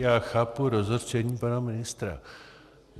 Já chápu rozhořčení pana ministra.